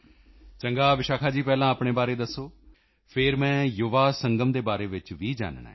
ਚੰਗਾ ਵਿਸ਼ਾਖਾ ਜੀ ਪਹਿਲਾਂ ਆਪਣੇ ਬਾਰੇ ਦੱਸੋ ਫਿਰ ਮੈਂ ਯੁਵਾ ਸੰਗਮ ਦੇ ਬਾਰੇ ਵਿੱਚ ਵੀ ਜਾਨਣਾ ਹੈ